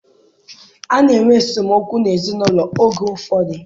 A na-enwe esemokwu n'ezinaụlọ oge ụfọdụ.